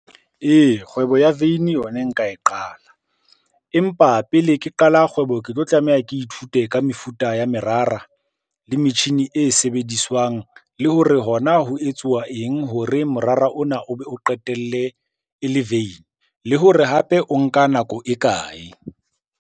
Ee, kgwebo ya veine yona e nka e qala. Empa pele ke qala kgwebo ke tlo tlameha ke ithute ka mefuta ya merara le metjhini e sebediswang. Le hore hona ho etsuwa eng hore morara ona o be o qetelle e le veine. Le hore hape o nka nako e kae?